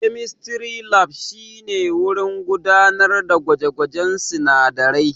Chemistry Lab shine wurin gudanar da gwaje-gwajen sunadarai.